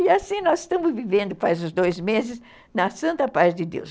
E assim nós estamos vivendo, faz uns dois meses, na santa paz de Deus.